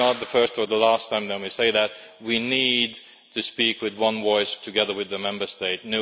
This is not the first or the last time that we have said that. We need to speak with one voice, together with the Member States.